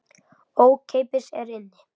Ókeypis er inn.